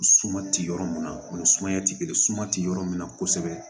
Suma ti yɔrɔ mun na o ni sumaya ti kelen ye suma ti yɔrɔ min na kosɛbɛ